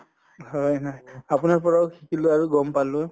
হয় নাই আপোনাৰ পৰাও শিকিলো আৰু গম পালো